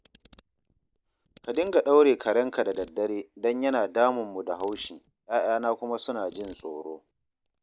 Ka dinga ɗaure karenka da daddare don yana damunmu da haushi, 'ya'yana kuma suna jin tsoro